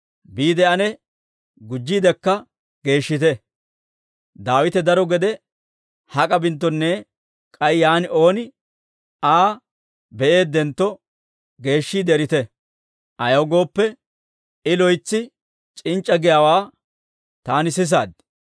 Biide ane gujjiidekka geeshshite; Daawite daro gede hak'a binttonne k'ay yaan ooni Aa be'eeddentto, geeshshiide erite; ayaw gooppe, I loytsi c'inc'c'a giyaawaa taani sisaad.